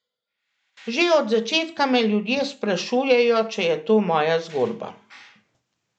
Že od začetka me ljudje sprašujejo, če je to moja zgodba.